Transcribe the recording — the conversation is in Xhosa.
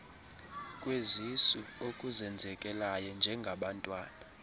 kwezisu okuzenzekelayo njengabantwana